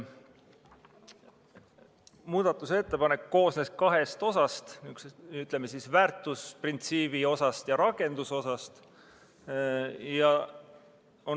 Muudatusettepanek koosnes kahest osast: väärtusprintsiibi osast ja rakendusosast.